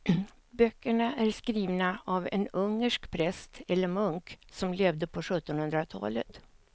Böckerna är skrivna av en ungersk präst eller munk som levde på sjuttonhundratalet.